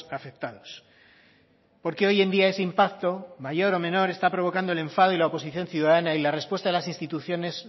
afectados porque hoy en día ese impacto mayor o menor está provocando el enfado y la oposición ciudadana y la respuesta de las instituciones